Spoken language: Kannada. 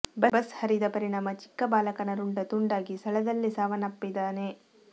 ಬಸ್ ಹರಿದ ಪರಿಣಾಮ ಚಿಕ್ಕ ಬಾಲಕನ ರುಂಡ ತುಂಡಾಗಿ ಸ್ಥಳದಲ್ಲೇ ಸಾವನ್ನಪ್ಪಿದ್ದಾನೆ